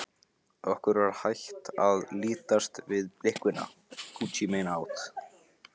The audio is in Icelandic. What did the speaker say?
Okkur var hætt að lítast á blikuna.